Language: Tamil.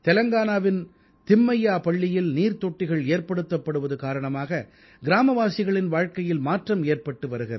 தெலங்கானாவின் திம்மைய்யாபள்ளியில் நீர்த்தொட்டிகள் ஏற்படுத்தப்படுவது காரணமாக கிராமவாசிகளின் வாழ்க்கையில் மாற்றம் ஏற்பட்டு வருகிறது